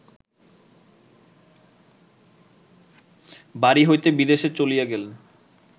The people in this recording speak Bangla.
বাড়ি হইতে বিদেশে চলিয়া গেলে